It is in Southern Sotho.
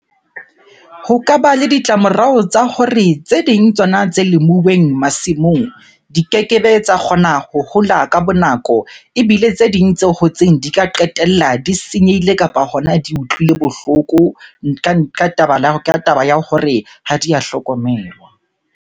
Ho ka ba le ditlamorao tsa hore tse ding tsona tse lemuweng masimong, di kekebe tsa kgona ho hola ka bo nako. Ebile tse ding tse hotseng di ka qetella di senyehile kapa hona di utlwile bohloko ka taba ya hore ha di ya hlokomelwa.